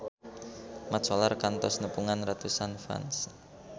Mat Solar kantos nepungan ratusan fans